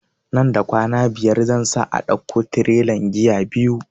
Nan da kwana biyar zan sa a dauko tirelan giya biyu